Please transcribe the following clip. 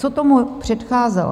Co tomu předcházelo?